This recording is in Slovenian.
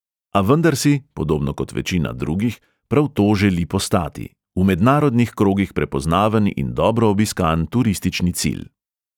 A vendar si, podobno kot večina drugih, prav to želi postati – v mednarodnih krogih prepoznaven in dobro obiskan turistični cilj.